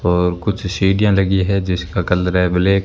और कुछ सीढ़ियां लगी है जिसका कलर है ब्लैक ।